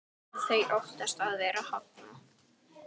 Þau óttast að vera hafnað.